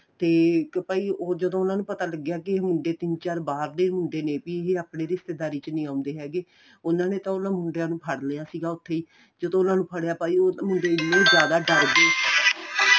ਤੇ ਭਾਈ ਉਹ ਜਦੋਂ ਉਹਨਾ ਨੂੰ ਪਤਾ ਲੱਗਿਆ ਕੀ ਇਹ ਮੁੰਡੇ ਤਿੰਨ ਚਾਰ ਬਾਹਰ ਦੇ ਮੁੰਡੇ ਨੇ ਵੀ ਇਹ ਆਪਣੀ ਰਿਸਤੇਦਾਰੀ ਚ ਨਹੀਂ ਆਉਦੇ ਹੈਗੇ ਉਹਨਾ ਨੇ ਤਾਂ ਉਹਨਾ ਮੁੰਡਿਆਂ ਨੂੰ ਫੜ ਲਿਆ ਸੀ ਉੱਥੇ ਹੀ ਜਦੋਂ ਉਹਨਾ ਨੂੰ ਫੱੜਿਆ ਭਾਈ ਉਹ ਮੁੰਡੇ ਐਨਾ ਜਿਆਦਾ ਡਰ ਗਏ